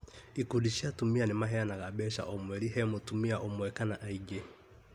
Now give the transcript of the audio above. Ikundi cia atumia nĩmaheanaga mbeca o mweri he mutumia ũmwe kana aingĩ